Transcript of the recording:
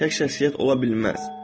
Tək şəxsiyyət ola bilməz.